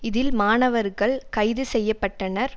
இதில் மாணவர்கள் கைது செய்ய பட்டனர்